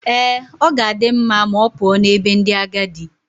Ee, ọ ga-adị mma ma ọ pụọ n'ebe ndị agadi.